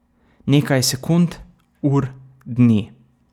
Nekaj sekund, ur, dni.